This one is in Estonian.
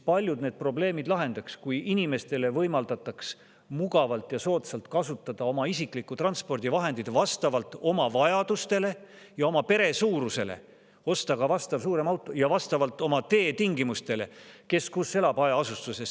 Paljud need probleemid lahendaks see, kui inimestele võimaldataks mugavalt ja soodsalt kasutada oma isiklikku transpordivahendit vastavalt oma vajadustele ja oma pere suurusele, osta ka suurem auto, mis vastaks nendele teetingimustele, hajaasustuses.